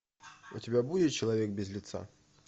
у тебя будет человек без лица